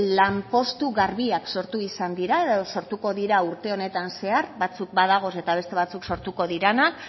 lanpostu garbiak sortu izan da edo sortuko dira urte honetan zehar batzuk badagoz eta beste batzuk sortuko diranak